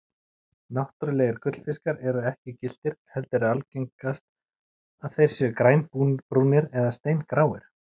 Náttúrulegir gullfiskar eru ekki gylltir heldur er algengast að þeir séu grænbrúnir og steingráir.